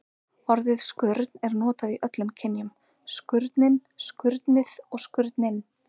Orðið skurn er notað í öllum kynjum: skurnin, skurnið og skurninn.